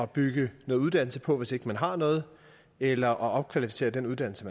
bygge noget uddannelse på hvis ikke de har noget eller at opkvalificere den uddannelse